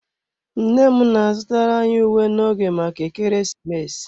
Nne m na-azụtara anyị uwe n'oge maka ekeresimesi.